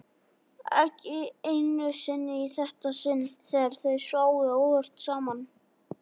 Ekki einu sinni í þetta sinn þegar þau sváfu óvart saman.